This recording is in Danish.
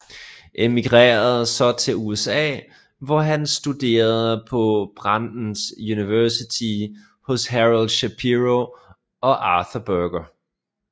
Emigrerede så til USA hvor han studerede på Brandeis University hos Harold Shapero og Arthur Berger